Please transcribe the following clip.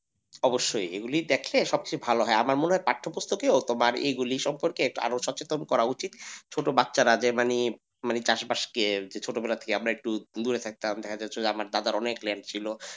অবশ্যই এগুলি দেখে সব চেয়ে ভালো হয় আমার মনে হয় তোমার এইগুলি সম্পর্কে আরো সচেতন করা উচিত ছোট বাচ্চারা যে মানে চাষবাস কে ছোটবেলা থেকে আমরা দূরে থাকতাম দেখা যাচ্ছে যে আমার দাদা অনেক ল্যান্ড ছিল,